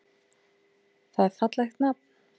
Það er fallegt nafn.